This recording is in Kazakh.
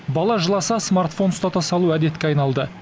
бала жыласа смартфон ұстата салу әдетке айналды